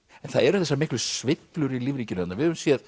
en það eru þessar miklu sveiflur í lífríkinu þarna við höfum séð